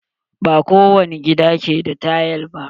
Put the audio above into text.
Ba kowani gida ke da tayal ba.